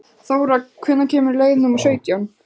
Þóra, hvenær kemur leið númer sautján?